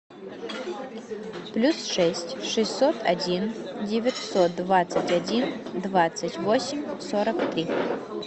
плюс шесть шестьсот один девятьсот двадцать один двадцать восемь сорок три